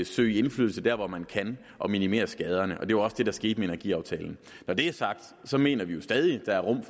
søge indflydelse der hvor man kan og minimere skaderne det var også det der skete med energiaftalen når det er sagt mener vi jo stadig der er rum